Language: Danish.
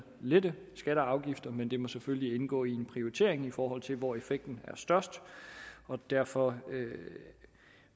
lette skatter og afgifter men det må selvfølgelig indgå i en prioritering i forhold til hvor effekten er størst derfor